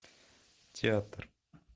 театр